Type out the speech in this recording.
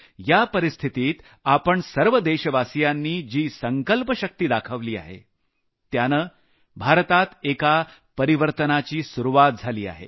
या परिस्थितीत आपण सर्व देशवासियांनी जी संकल्प शक्ति दाखवली आहे त्यानं भारतात एका परिवर्तनाची सुरूवात झाली आहे